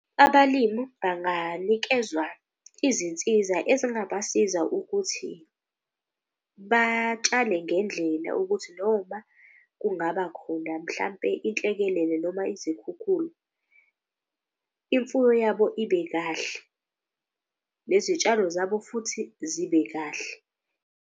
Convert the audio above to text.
Abalimu banganikezwa izinsiza ezingabasiza ukuthi batshale ngendlela ukuthi noma kungaba khona mhlampe inhlekelele noma izikhukhula. Imfuyo yabo ibe kahle nezitshalo zabo futhi zibe kahle.